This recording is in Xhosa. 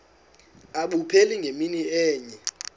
abupheli ngemini enye